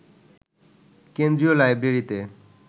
কেন্দ্রীয় লাইব্রেরিতে